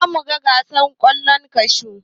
Za mu gasa ƙwallon kashu.